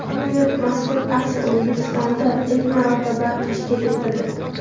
Bu yil mazkur aksiya O‘zbekistonda ilk marotaba tashkil etildi.